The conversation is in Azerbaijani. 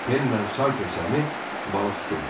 Penlə Salter Sami balıq tuturdular.